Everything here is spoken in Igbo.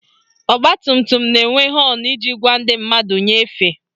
Ọgbatumtum na-enwe họọnụ iji gwa ndị mmadụ nye efe